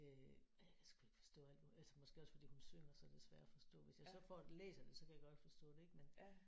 Øh og jeg kan sgu ikke forstå alt hvad altså måske også fordi hun synger så er det sværere at forstå. Hvis jeg så får læser det så kan jeg godt forstå det ik men